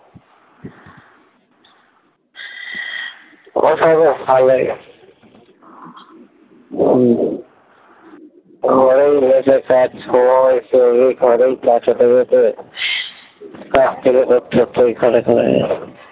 হম কাছে থেকে